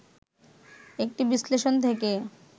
একটি বিশ্লেষণ থেকে